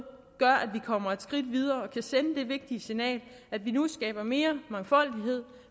kommer et skridt videre og kan sende det vigtige signal at vi nu skaber mere mangfoldighed